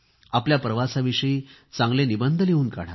आपल्या प्रवासाविषयी चांगले निबंध लिहून काढा